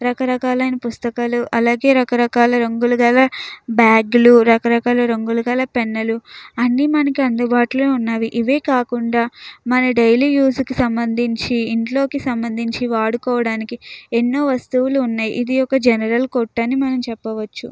రకాల రకాల అయిన పుస్తకాలు అలగే రకాల రకాల రంగులు గల బ్యాగ్ లు రంగు రంగుల రంగుల గల పుస్తకాలూ పెన్ లు ఉన్నవి. అని మనకు ఇక్కడ అడుబట్లో ఉనది మనకు డైలీ రోజుకి కి సంబంధించి ఎన్నో వస్తువులు ఉన్నాయ్. ఇది ఒక జనరల్ కొట్ట చెప్పవచ్చు.